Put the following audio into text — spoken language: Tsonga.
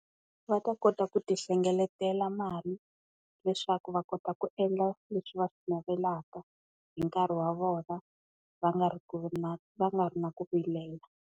Va ta kota ku ti hlengeletela mali leswaku va kota ku endla leswi va swi navelaka hi nkarhi wa vona va nga ri na va nga ri na ku vilela.